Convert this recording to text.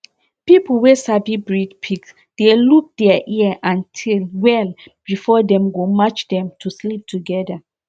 people wey sabi breed pig dey look dia ear and tail well before dem go match dem to sleep togeda